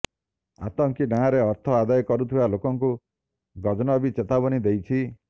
ଆତଙ୍କୀ ନାଁରେ ଅର୍ଥ ଆଦାୟ କରୁଥିବା ଲୋକଙ୍କୁ ଗଜନବୀ ଚେତାବନୀ ଦେଇଛି